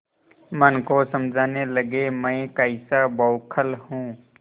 मन को समझाने लगेमैं कैसा बौखल हूँ